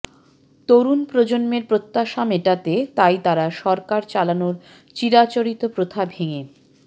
তরুণ প্রজন্মের প্রত্যাশা মেটাতে তাই তাঁরা সরকার চালানোর চিরাচরিত প্রথা ভেঙে